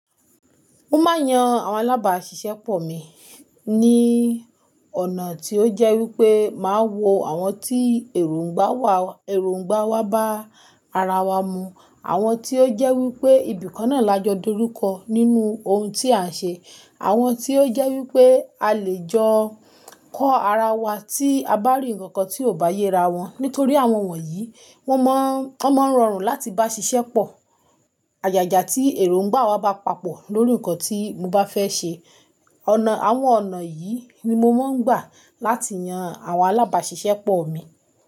Mo máa yan àwọn alábàáṣiṣẹ́ pọ̀ mi ní ọ̀nà tí ó jẹ́ wípé máa wo àwọn tí èròngbà wa, èròngbà wa bá ara wa mu. Àwọn tí ó jẹ́ wípé ìbìkọ́ná là jọ dúró ko nínú ohun tí à ń ṣe. Àwọn tí ó jẹ́ wípé a lè jọ kọ ara wa tí a bá rí ǹkan tí ò bá yé ra wọn. Nítorí àwọn wọ̀nyí, wọ́n mọ, wọ́n máa ń rọrùn láti bá ṣiṣẹ́ pọ̀. Àyàjà tí èròngbà wa bá papọ̀ lórí ǹkan tí mo bá fẹ́ ṣe. Ọ̀nà, àwọn ọ̀nà yìí ni mo máa ń gbà láti yan àwọn alábàáṣiṣẹ́ pọ̀ mi.